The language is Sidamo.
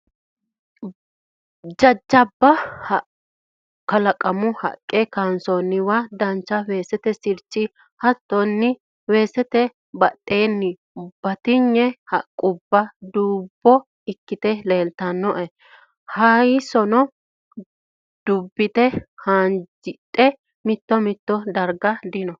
Jajjabba kalaqamu haqqe kansoonniwa duucha weesete sirchono hattonni weesete badheenni batinye haqqubba dubbo ikkite leelttanoe. Hayissono dubbite haanjidhe mito mito darga dino.